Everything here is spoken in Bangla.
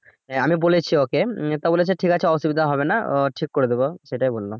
হ্যাঁ আমি বলেছি ওকে উম তো বলেছে ঠিক আছে অসুবিধা হবে না আহ ঠিক করে দিবো সেটাই বললো